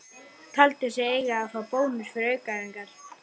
Taldi sig eiga að fá bónus fyrir aukaæfingar.